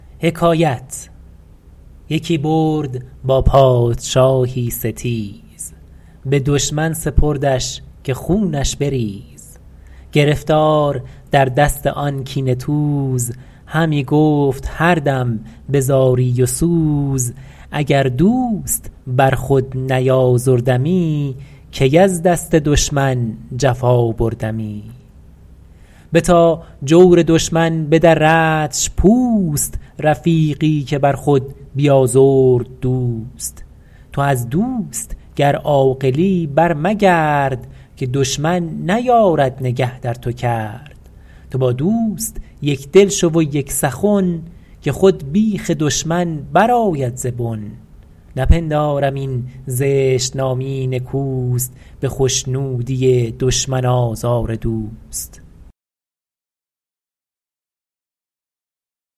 یکی برد با پادشاهی ستیز به دشمن سپردش که خونش بریز گرفتار در دست آن کینه توز همی گفت هر دم به زاری و سوز اگر دوست بر خود نیازردمی کی از دست دشمن جفا بردمی بتا جور دشمن بدردش پوست رفیقی که بر خود بیازرد دوست تو از دوست گر عاقلی بر مگرد که دشمن نیارد نگه در تو کرد تو با دوست یکدل شو و یک سخن که خود بیخ دشمن برآید ز بن نپندارم این زشت نامی نکوست به خشنودی دشمن آزار دوست